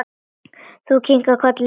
Þú kinkar kolli.